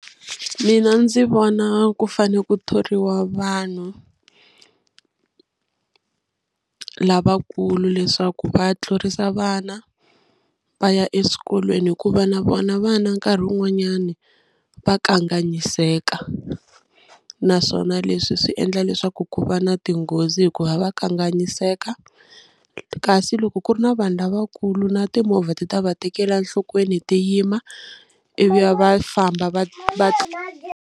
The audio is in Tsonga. Mina ndzi vona ku fane ku thoriwa vanhu lavakulu leswaku va tlurisa vana va ya eswikolweni hikuva na vona vana nkarhi wun'wanyani va kanganyiseka naswona leswi swi endla leswaku ku va na tinghozi hikuva va kanganyiseka kasi loko ku ri na vanhu lavakulu na timovha ti ta va tekela enhlokweni ti yima ivi va va famba va va .